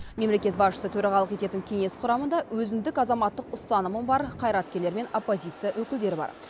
мемлекет басшысы төрағалық ететін кеңес құрамында өзіндік азаматтық ұстанымы бар қайраткерлер мен оппозиция өкілдері бар